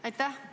Aitäh!